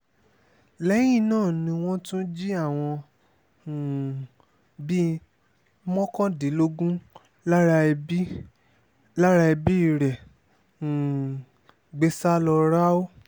lẹ́yìn náà ni wọ́n tún jí àwọn um bíi mọ́kàndínlógún lára ẹbí lára ẹbí rẹ̀ um gbé sá lọ ráú